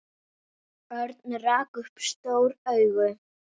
Örn rak upp stór augu.